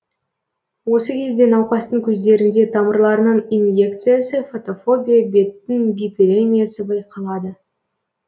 осы кезде науқастың көздерінде тамырларының иньекциясы фотофобия беттің гиперемиясы байқалады